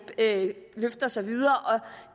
ikke løfter sig videre og